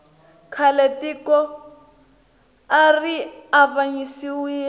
khale tiko ari avanyisiwile